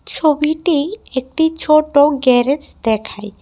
ছবিতেই একটি ছোটো গ্যারেজ দেখায়।